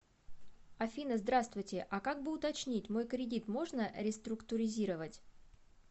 афина здравствуйте а как бы уточнить мой кредит можно реструктуризировать